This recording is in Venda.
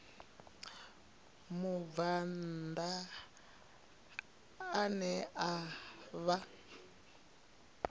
mubvann ḓa ane a vha